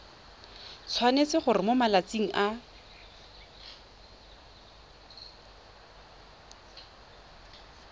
tshwanetse gore mo malatsing a